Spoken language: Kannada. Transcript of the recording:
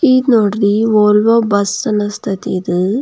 ಇದು ನೋಡ್ರಿ ವೋಲ್ವೋ ಬಸ್ ಅನಸ್ತತೆ ಇದು --